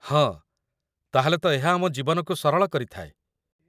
ହଁ, ତା'ହେଲେ ତ ଏହା ଆମ ଜୀବନକୁ ସରଳ କରିଥାଏ